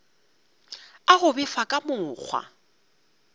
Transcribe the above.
a go befa ka mokgwa